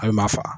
A bɛ maa fa